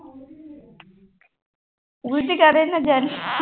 ਉਲਝ ਕਾਹਦੇ ਨਾਲ ਜਾਨੀ